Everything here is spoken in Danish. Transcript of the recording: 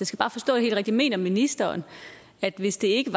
skal bare forstå det helt rigtigt mener ministeren at hvis det ikke